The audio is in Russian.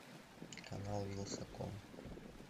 канал вилсаком